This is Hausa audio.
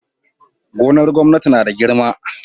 Gonar gwamnati nada girma